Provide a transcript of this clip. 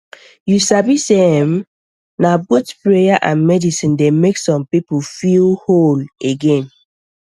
you sabi sey erm na both prayer and medicine dey make some people feel whole again